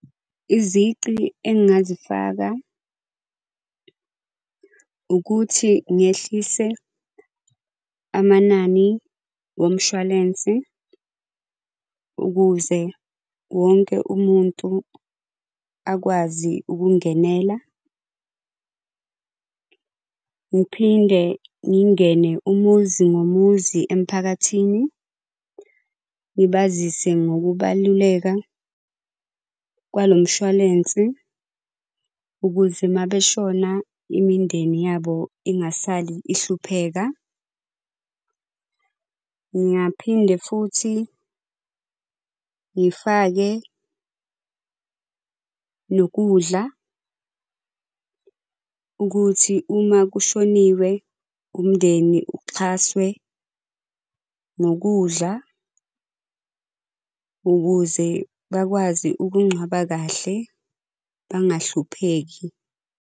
Izici engingazifaka, ukuthi ngehlise amanani womshwalensi ukuze wonke umuntu akwazi ukungenela. Ngiphinde ngingene umuzi nomuzi emiphakathini, ngibazise ngokubaluleka kwalo mshwalense ukuze mabeshona imindeni yabo ingasali ihlupheka. Ngingaphinde futhi ngifake nokudla ukuthi uma kushoniwe umndeni uxhaswe ngokudla ukuze bakwazi ukungcwaba kahle bangahlupheki.